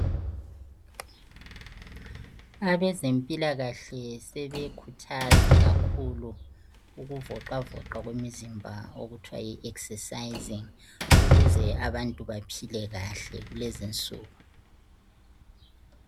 Abezempilakahle sebekhuthaza kakhulu ukuvoxwavoxwa komzimba okuthiwa yi eksesayizing ukuze abantu baphile kahle kulezinsuku.